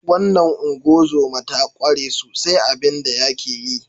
Wannan ungozoma ta kware sosai a abin da yake yi.